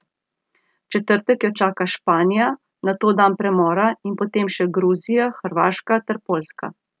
V četrtek jo čaka Španija, nato dan premora in po tem še Gruzija, Hrvaška ter Poljska.